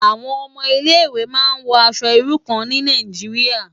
Awòn òmò Ilé Iwé má n wò aṣò irú kàn ni Nàijiriá